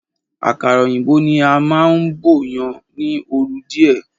Àkàrà òyìnbó ni a máún bọ̀yan ni oru díè.